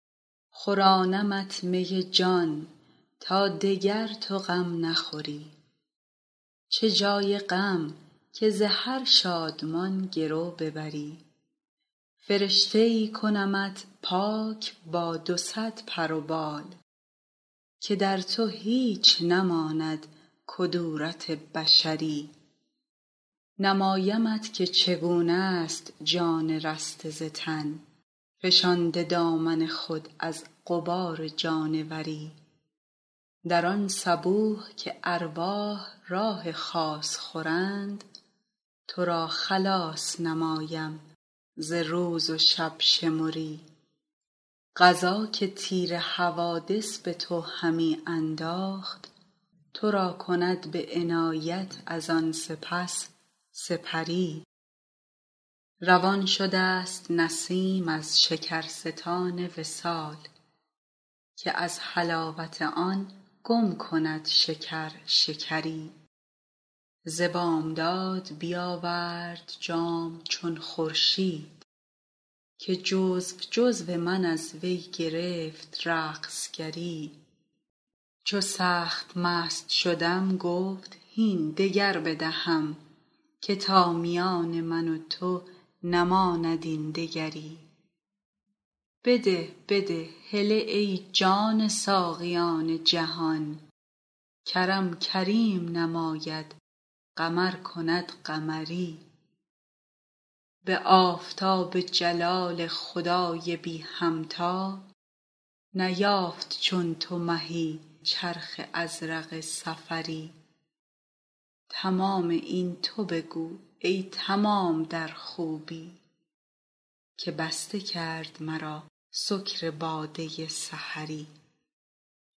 خورانمت می جان تا دگر تو غم نخوری چه جای غم که ز هر شادمان گرو ببری فرشته ای کنمت پاک با دو صد پر و بال که در تو هیچ نماند کدورت بشری نمایمت که چگونه ست جان رسته ز تن فشانده دامن خود از غبار جانوری در آن صبوح که ارواح راح خاص خورند تو را خلاص نمایم ز روز و شب شمری قضا که تیر حوادث به تو همی انداخت تو را کند به عنایت از آن سپس سپری روان شده ست نسیم از شکرستان وصال که از حلاوت آن گم کند شکر شکری ز بامداد بیاورد جام چون خورشید که جزو جزو من از وی گرفت رقص گری چو سخت مست شدم گفت هین دگر بدهم که تا میان من و تو نماند این دگری بده بده هله ای جان ساقیان جهان کرم کریم نماید قمر کند قمری به آفتاب جلال خدای بی همتا نیافت چون تو مهی چرخ ازرق سفری تمام این تو بگو ای تمام در خوبی که بسته کرد مرا سکر باده سحری